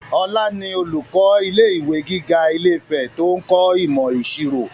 Ọlá ni olùkọ́ ilé ìwé gíga ilé-ìfẹ́ to ń kọ́ imo ìṣirò